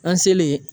An selen